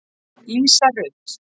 Lísa Rut.